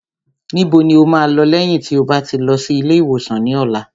Níbo ni o máa lọ lẹ́yìn tí o bá ti lọ sí ilé ìwòsàn ní ọ̀la?